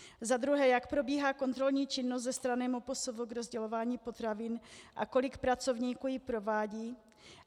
Za druhé: Jak probíhá kontrolní činnost ze strany MPSV k rozdělování potravin a kolik pracovníků ji provádí?